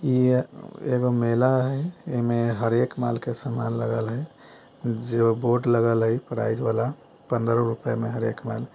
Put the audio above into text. इ एगो मेला हय एमे हर एक माल के समान लगाल हय जो बोर्ड लागल हय प्राइस वाला पंद्रह रुपए में हर एक माल।